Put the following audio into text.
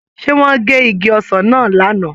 Ṣé wọ́n gé igi ọsàn náà lánàá?